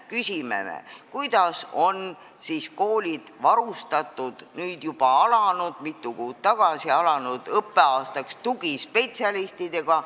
Küsime nimelt, kuidas on koolid alanud õppeaastaks varustatud tugispetsialistidega.